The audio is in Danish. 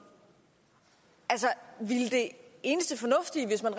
ville det eneste fornuftige hvis man